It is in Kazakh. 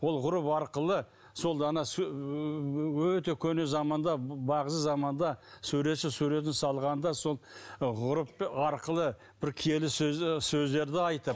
ол ғұрып арқылы сол дана өте көне заманда бағзы заманда суретші суретін салғанда сол ғұрып арқылы бір киелі сөздерді айтып